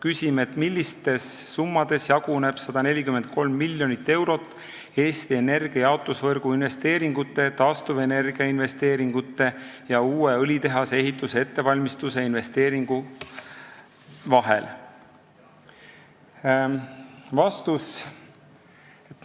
Küsime, et millistes summades jaguneb 143 miljonit eurot Eesti Energia jaotusvõrgu investeeringute, taastuvenergia investeeringute ja uue õlitehase ehituse ettevalmistuse investeeringu vahel?